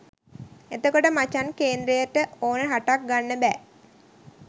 එතකොට මචන් කේන්ද්‍රය ට ඕන රටක් ගන්න බෑ